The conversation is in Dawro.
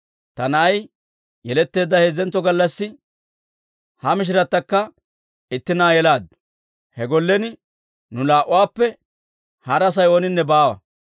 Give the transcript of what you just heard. Ta na'ay yeletteedda heezzentso gallassi ha mishiratakka itti na'aa yelaaddu. He gollen nu laa'uwaappe hara Asay ooninne baawa.